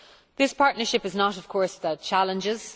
This partnership is not of course without challenges.